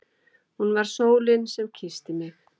Hún var sólin sem kyssti mig.